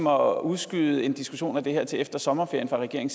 at udskyde en diskussion om det her til efter sommerferien